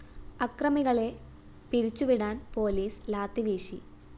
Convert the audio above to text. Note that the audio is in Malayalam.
അക്രമികളെ പിരിച്ചു വിടാന്‍ പോലീസ് ലാത്തി വീശി